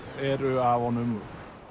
eru af honum